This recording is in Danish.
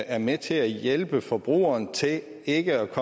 er med til at hjælpe forbrugeren til ikke at